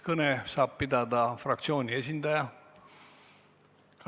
Kõne saab pidada fraktsiooni esindaja.